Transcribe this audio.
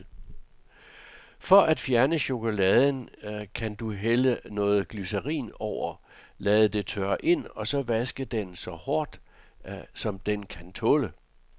For at fjerne chokoladen kan du hælde noget glycerin over, lade det tørre ind, og så vaske den så hårdt, som den kan tåle.